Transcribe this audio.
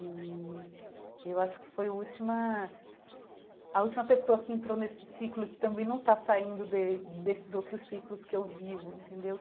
E eu acho que foi a última... A última pessoa que entrou nesse ciclo, que também não está saindo de desses outros ciclos que eu vivo, entendeu?